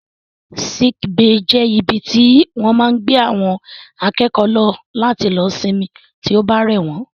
Sick bay jẹ́ ibi tí wọ́n máa ń gbé àwọn akẹ́kọ̀ọ́ lọ láti lọ sinmi tí ó bá rẹ̀ wọ́n